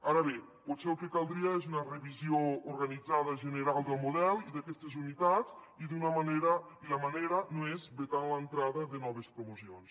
ara bé potser el que caldria és una revisió organitzada general del model i d’aquestes unitats i la manera no és vetant l’entrada de noves promocions